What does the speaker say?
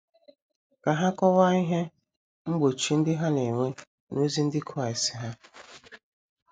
Ka ha kọwaa ihe mgbochi ndị ha na - enwe n’ozi ndị Kraịst ha.